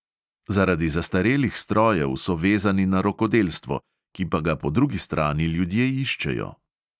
Zaradi zastarelih strojev so vezani na rokodelstvo, ki pa ga po drugi strani ljudje iščejo.